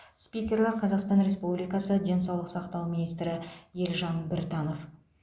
спикерлер қазақстан республикасы денсаулық сақтау министрі елжан біртанов